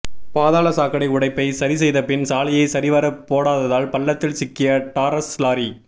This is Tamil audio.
பாதாள சாக்கடை உடைப்பை சரி செய்தபின் சாலையை சரிவர போடாததால் பள்ளத்தில் சிக்கிய டாரஸ் லாரி